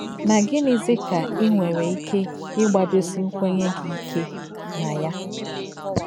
Na gịnịzi ka i nwere ike ịgbadosi nkwenye gị ike na ya?